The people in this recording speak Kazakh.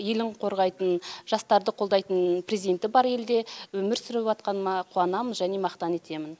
елін қорғайтын жастарды қолдайтын президенті бар елде өмір сүріватқаныма қуанамын және мақтан етемін